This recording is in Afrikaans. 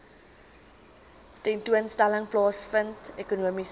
tentoonstelling plaasvind ekonomiese